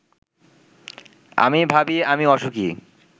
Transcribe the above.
আমি ভাবি-আমি অসুখী